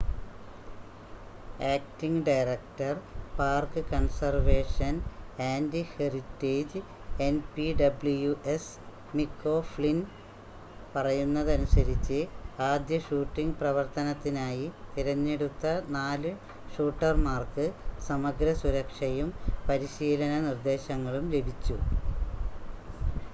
acting director park conservation and heritage NPWS Mick O'Flynn പറയുന്നതനുസരിച്ച് ആദ്യ shooting പ്രവർത്തനത്തിനായി തിരഞ്ഞെടുത്ത 4 ഷൂട്ടർമാർക്ക് സമഗ്ര സുരക്ഷയും പരിശീലന നിർദ്ദേശങ്ങളും ലഭിച്ചു